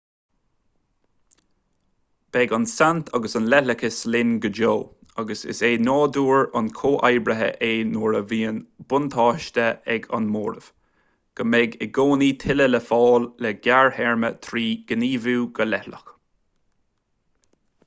beidh an tsaint agus an leithleachas linn go deo agus is é nádúr an chomhoibrithe é nuair a bhíonn buntáiste ag an móramh go mbeidh i gcónaí tuilleadh le fáil sa ghearrthéarma trí ghníomhú go leithleach